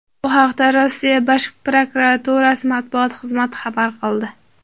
Bu haqda Rossiya Bosh prokuraturasi matbuot xizmati xabar qildi.